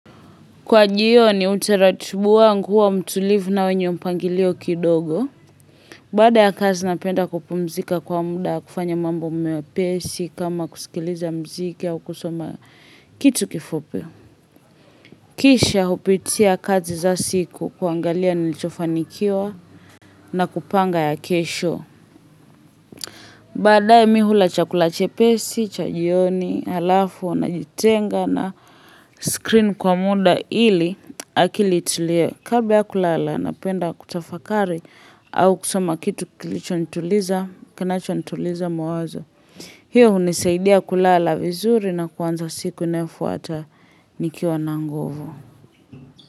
Kwa jioni utaratubu wangu huwa mtulivu na wenye mpangilio kidogo. Baada ya kazi napenda kupumzika kwa muda kufanya mambo mepesi kama kusikiliza mziki au kusoma kitu kifupi. Kisha jupitia kazi za siku kuangalia nilichofanikiwa na kupanga ya kesho. Baadaye mi mihula chakula chepesi, cha jioni, halafu najitenga na screen kwa muda ili akili itulie. Kabla ya kulala napenda kutafakari au kusoma kitu kilichonituliza, kinacho nituliza mawazo. Hiyo hunisaidia kulala vizuri na kuanza siku inayofuata nikiwa na nguvu.